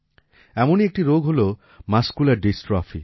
এমনই একটি রোগ হল মাসকুলার ডিস্ট্রফি